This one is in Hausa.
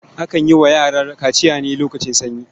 Akan yi wa yara kaciya ne lokacin sanyi.